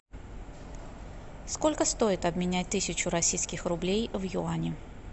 сколько стоит обменять тысячу российских рублей в юани